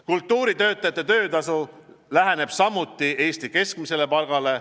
Kultuuritöötajate töötasu läheneb samuti Eesti keskmisele palgale.